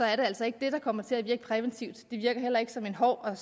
er det altså ikke det der kommer til at virke præventivt det virker heller ikke som en hård og